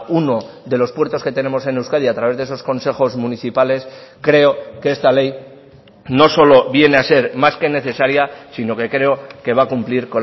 uno de los puertos que tenemos en euskadi a través de esos consejos municipales creo que esta ley no solo viene a ser más que necesaria sino que creo que va a cumplir